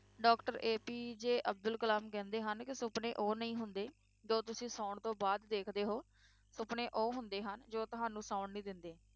Doctor APJ Abdul Kalam ਕਹਿੰਦੇ ਹਨ, ਕਿ ਸੁਪਨੇ ਉਹ ਨਹੀਂ ਹੁੰਦੇ ਜੋ ਤੁਸੀਂ ਸੌਣ ਤੋਂ ਬਾਅਦ ਦੇਖਦੇ ਹੋ, ਸੁਪਨੇ ਉਹ ਹੁੰਦੇ ਹਨ, ਜੋ ਤੁਹਾਨੂੰ ਸੌਣ ਨਹੀਂ ਦਿੰਦੇ,